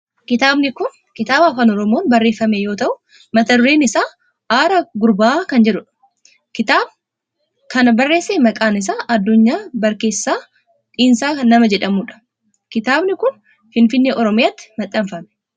Kitaabni kun kitaaba afaan oromoon barreeffame yoo ta'u mata dureen isa Arraa Gurbaa kan jedhudha. namni kitaaba kana barreesse maqaan isaa Addunyaa Barkeessaa Dhinsaa nama jedhamudha. kitaabni kun Finfinnee Oromiyaatti maxxanfame.